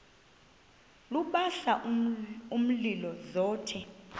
lubasa umlilo zothe